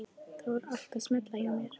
Það var allt að smella hjá mér.